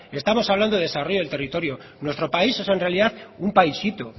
estamos hablando del desarrollo del territorio nuestro país es en realidad un paisito